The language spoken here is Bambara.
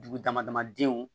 Dugu dama dama denw